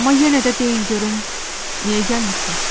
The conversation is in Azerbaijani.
Amma yenə də deyin görüm, niyə gəlmisiniz?